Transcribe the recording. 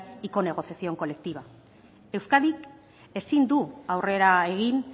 icono de conexión colectiva euskadik ezin du aurrera egin